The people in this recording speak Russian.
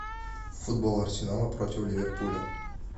футбол арсенала против ливерпуля